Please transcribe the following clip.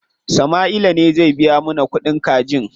Sama'ila ne zai biya mana kuɗin kajin.